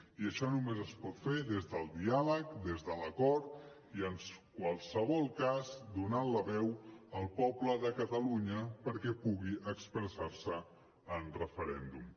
i això només es pot fer des del diàleg des de l’acord i en qualsevol cas donant la veu al poble de catalunya perquè pugui expressar se en referèndum